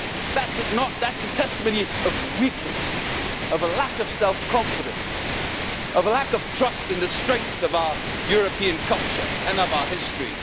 That is a testimony of weakness, of a lack of self confidence, of a lack of trust in the strength of our European culture and our history.